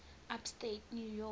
upstate new york